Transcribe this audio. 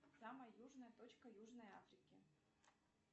самая южная точка южной африки